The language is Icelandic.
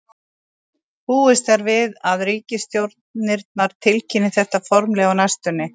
Búist er við að ríkisstjórnirnar tilkynni þetta formlega á næstunni.